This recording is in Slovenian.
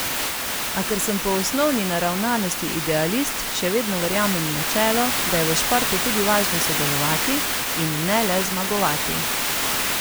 A ker sem po osnovni naravnanosti idealist, še vedno verjamem v načelo, da je v športu tudi važno sodelovati, in ne le zmagovati.